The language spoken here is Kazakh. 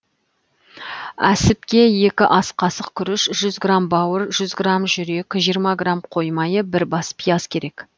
әсіпке екі ас қасық күріш жүз грамм бауыр жүз грамм жүрек жиырма грамм қой майы бір бас пияз керек